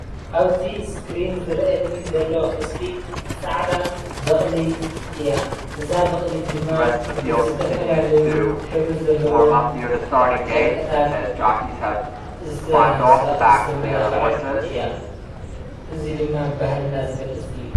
ኣብዚ እስክሪን ዝረኣየኒ ዘሎ ምስሊ ፃዕዳ በቕሊ እያ። እዛ በቕሊ ድማ ብዝተፈላለዩ ሕብሪ ዘለዎም ጨርቅታት ዝተመላኸዐት እያ። እዚ ድማ ባህልና ዝገልፅ እዩ።